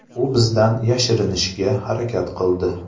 U bizdan yashirinishga harakat qildi.